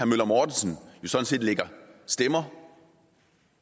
møller mortensen lægger stemmer